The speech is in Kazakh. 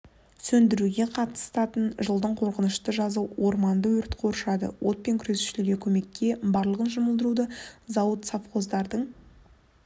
сөндіруге қатысатын жылдың қорқынышты жазы орманды өрт қоршады отпен күресушілерге көмекке барлығын жұмылдырды зауыт совхоздардың